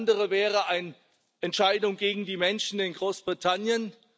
Alles andere wäre eine Entscheidung gegen die Menschen in Großbritannien.